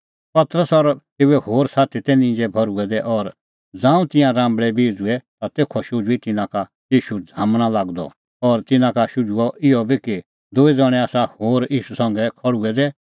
पतरस और तेऊए होर साथी तै निंजै भर्हुऐ दै और ज़ांऊं तिंयां राम्बल़ै बिऊंछ़ुऐ ता तेखअ शुझुई तिन्नां का ईशू झ़ामण लागअ द और तिन्नां का शुझुअ इहअ बी कि दूई ज़ण्हैं आसा होर ईशू संघै खल़्हुऐ दै